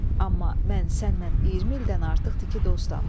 Amma mən səndən 20 ildən artıqdır ki, dostam.